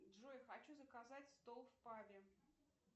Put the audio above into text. джой хочу заказать стол в пабе